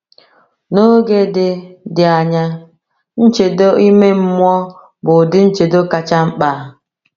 N’oge dị dị anya, nchedo ime mmụọ bụ ụdị nchedo kacha mkpa.